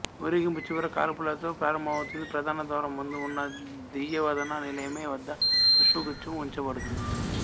ఊరేగింపు చివరి కాల్పులతో ప్రారంభమవుతుంది ప్రధాన ద్వారం ముందు ఉన్న దియవదన నిలమే వద్ద పుష్పగుచ్ఛము ఉంచబడుతుంది